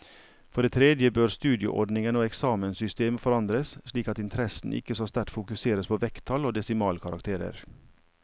For det tredje bør studieordningen og eksamenssystemet forandres slik at interessen ikke så sterkt fokuseres på vekttall og desimalkarakterer.